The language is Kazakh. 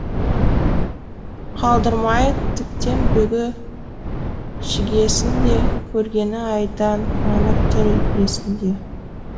қалдырмай тіптен бүге шігесін де көргені айдан анық тұр есінде